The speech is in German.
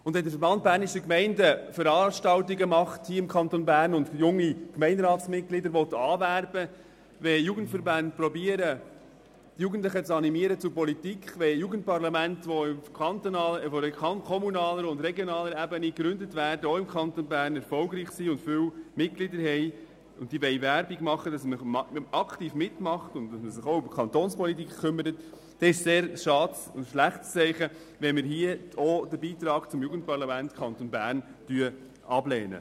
Wenn der Verband Bernischer Gemeinden (VBG) Veranstaltungen im Kanton Bern durchführt und junge Gemeinderatsmitglieder anwerben will, wenn Jugendverbände versuchen, Jugendliche für die Politik zu animieren, wenn Jugendparlamente, die auf kommunaler und regionaler Ebene gegründet werden, erfolgreich sind und Werbung für eine aktive Teilnahme machen wollen, dann ist es sehr schade und ein schlechtes Zeichen, wenn wir den Beitrag zum Jugendparlament des Kantons Bern ablehnen.